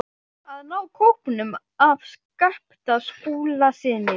AÐ NÁ KÓPNUM AF SKAPTA SKÚLASYNI.